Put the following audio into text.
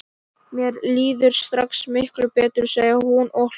Mér líður strax miklu betur, segir hún og hlær.